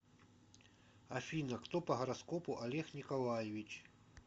афина кто по гороскопу олег николаевич